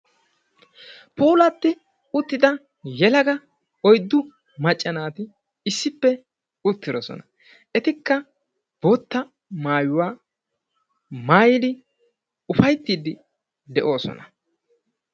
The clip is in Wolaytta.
puulatti uttida yelaga oyddu macca naati issipe uttidosona. Etikka bootta maayuwa maayidi ufaytiiddi de"oosona.